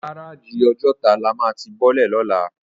Gáráji Òjòtá lá má ti bòlè lólà